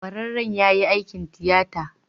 Kwararren ya yi aikin tiyata.